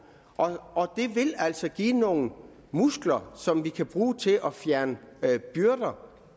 og det vil altså give nogle muskler som vi kan bruge til at fjerne byrder